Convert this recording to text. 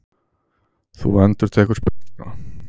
Þú endurtekur spurninguna.